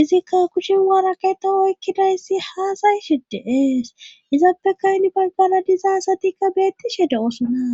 izikka kushen waarakey ta oykkida hissi haasayishi deees izappekaynibaggana dizasatikka beettishe de7oosunna